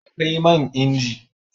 Akwai man inji